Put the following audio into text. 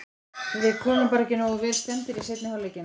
Við komum bara ekki nógu vel stemmdir í seinni hálfleikinn.